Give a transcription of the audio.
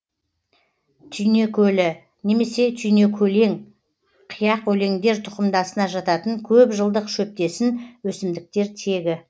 түйнекөлі немесе түйнекөлең қияқөлеңдер тұқымдасына жататын көп жылдық шөптесін өсімдіктер тегі